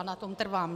A na tom trvám.